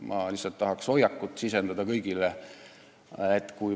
Ma lihtsalt tahan kõigile sisendada teatud hoiakut.